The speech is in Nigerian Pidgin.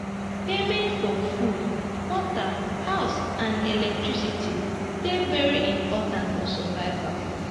payment for food water house and electricity dey very important for survival